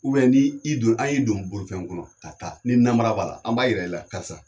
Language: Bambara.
U bɛ ni do n'an y'i don bolifɛn kɔnɔ ka taa ni nara b'a la an b'a yɛrɛ ila karisa